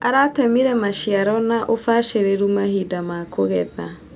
Aratemire maciaro na ũbacĩrĩru mahinda ma kũgetha.